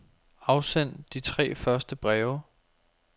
Afsend de tre første breve.